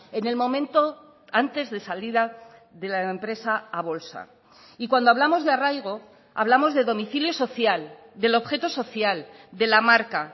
en el momento antes de salida de la empresa a bolsa y cuando hablamos de arraigo hablamos de domicilio social del objeto social de la marca